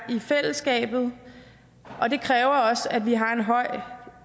i fællesskabet og det kræver også at vi har en høj